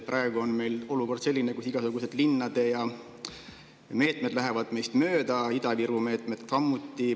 Praegu on meil olukord selline, kus igasugused linnade ja meetmed lähevad meist mööda, Ida-Viru meetmed samuti.